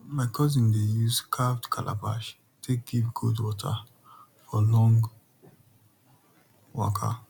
my cousin dey use carved calabash take give goat water for long waka